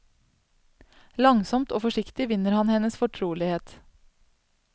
Langsomt og forsiktig vinner han hennes fortrolighet.